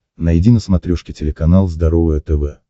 найди на смотрешке телеканал здоровое тв